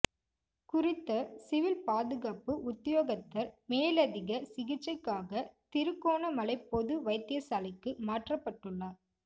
குறித்த சிவில் பாதுகாப்பு உத்தியோகத்தர் மேலதிக சிகிச்சைக்காக திருகோணமலை பொது வைத்தியசாலைக்கு மாற்றப்பட்டுள்ளார்